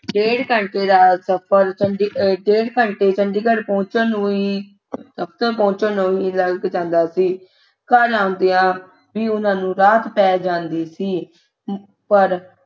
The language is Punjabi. ਡੇਢ ਘੰਟੇ ਦਾ ਸਫ਼ਰ ਚੂੰਢੀ ਅਹ ਡੇਢ ਘੰਟੇ ਚੰਡੀਗੜ੍ਹ ਪਹੁੰਚਣ ਨੂੰ ਹੀ ਪਹੁੰਚਣ ਨੂੰ ਹੀ ਲੱਗ ਜਾਂਦਾ ਸੀ ਘਰ ਆਉਂਦਿਆਂ ਵੀ ਉਹਨਾਂ ਨੂੰ ਰਾਤ ਪੈ ਜਾਂਦੀ ਸੀ ਅਹ ਪਰ